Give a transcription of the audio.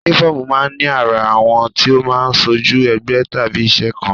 Únífọ́ọ̀mù máa ń ní àrà, àwọ̀ tí ó máa ń ṣojú ẹgbẹ́ tàbí iṣẹ́ kan